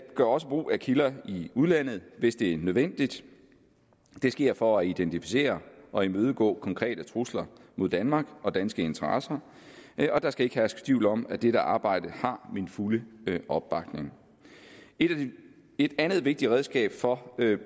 gør også brug af kilder i udlandet hvis det er nødvendigt det sker for at identificere og imødegå konkrete trusler mod danmark og danske interesser og der skal ikke herske tvivl om at dette arbejde har min fulde opbakning et andet vigtigt redskab for